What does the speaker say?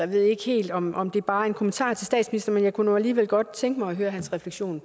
ved ikke helt om om det bare er en kommentar til statsministeren men jeg kunne nu alligevel godt tænke mig at høre hans refleksion